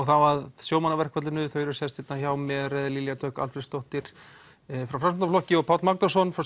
þá að sjómannaverkfallinu þau eru sest hjá mér Lilja Dögg Alfreðsdóttir frá Framsóknarflokki og Páll Magnússon frá